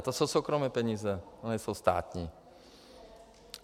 A to jsou soukromé peníze, to nejsou státní.